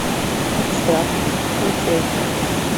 экстракт включай